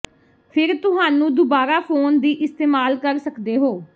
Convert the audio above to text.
ਫਿਰ ਤੁਹਾਨੂੰ ਦੁਬਾਰਾ ਫੋਨ ਦੀ ਇਸਤੇਮਾਲ ਕਰ ਸਕਦੇ ਹੋ